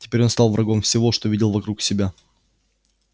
теперь он стал врагом всего что видел вокруг себя